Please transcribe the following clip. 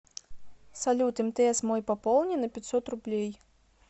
салют мтс мой пополни на пятьсот рублей